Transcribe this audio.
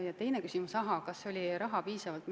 Aga te küsisite ka, kas metsandusteaduses on raha piisvalt.